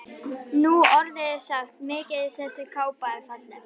Nú orðið er sagt: Mikið er þessi kápa alltaf falleg